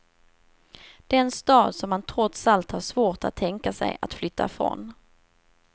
Den stad som han trots allt har svårt att tänka sig att flytta från.